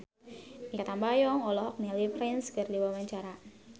Mikha Tambayong olohok ningali Prince keur diwawancara